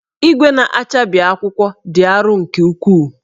Igwe na-achabi akwụkwọ dị arọ nke ukwuu